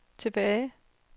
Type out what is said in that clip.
tilbage